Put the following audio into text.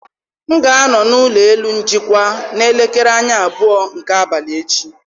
M ga-anọ n'ụlọ elu njikwa n'elekere anya abụọ nke abalị echi.